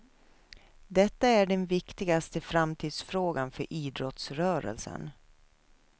Detta är den viktigaste framtidsfrågan för idrottsrörelsen.